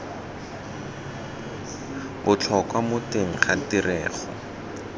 botlhokwa mo teng ga tirego